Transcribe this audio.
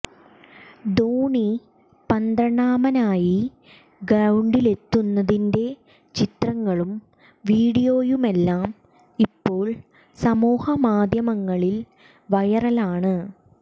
ധോണി പന്ത്രണ്ടാമനായി ഗ്രൌണ്ടിലെത്തുന്നതിന്റെ ചിത്രങ്ങളും വീഡിയോയുമെല്ലാം ഇപ്പോൾ സമൂഹ മാധ്യമങ്ങളിൽ വൈറലാണ്